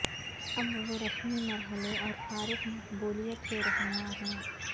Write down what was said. اب وہ رسمی مرحلے اور فارغ مقبولیت کے رہنما ہیں